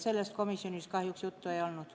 Sellest komisjonis kahjuks juttu ei olnud.